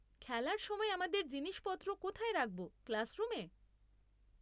খেলার সময় আমাদের জিনিসপত্র কোথায় রাখব, ক্লাসরুমে?